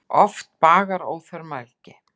Oft bagar óþörf mælgi.